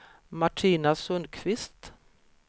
Martina Sundkvist